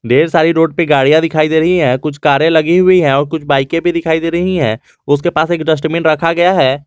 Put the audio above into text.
ढेर सारी रोड पर गाड़ियां दिखाई दे रही है कुछ कारें लगी हुई हैं और कुछ बाइके भी दिखाई दे रही है उसके पास एक डस्टबिन रखा गया है।